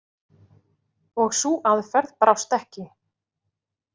Og sú aðferð brást ekki.